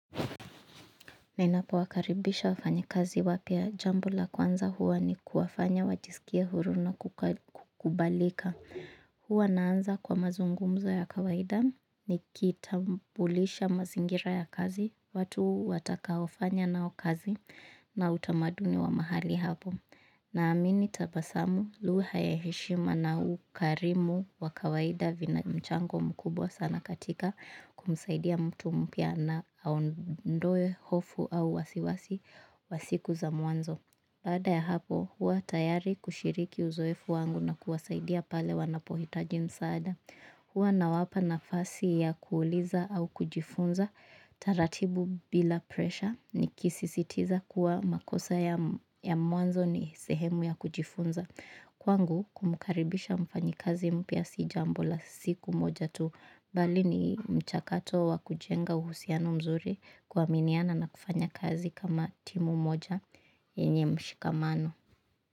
Ninapowakaribisha wafanyakazi wapya jambo la kwanza huwa ni kuwafanya wajisikie huru na kukubalika. Huwa naanza kwa mazungumzo ya kawaida ni kitambulisha mazingira ya kazi, watu watakaofanya nao kazi na utamaduni wa mahali hapo. Naamini tabasamu lugha ya heshima na ukarimu wa kawaida vinamchango mkubwa sana katika kumsaida mtu mpya na aondoe hofu au wasiwasi wa siku za mwanzo baada ya hapo, huwa tayari kushiriki uzoefu wangu na kuwasaidia pale wanapohitaji msaada. Huwa nawapa nafasi ya kuuliza au kujifunza, taratibu bila presha nikisisitiza kuwa makosa ya mwanzo ni sehemu ya kujifunza. Kwangu kumkaribisha mfanyikazi mpya si jambo la siku moja tu bali ni mchakato wa kujenga uhusiano mzuri kuaminiana na kufanya kazi kama timu moja yenye mshikamano.